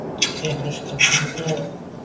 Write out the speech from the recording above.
Er þetta ekki komið nóg?